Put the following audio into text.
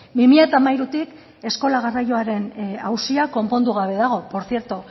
bi mila hamairutik eskola garraioaren auzia konpondu gabe dago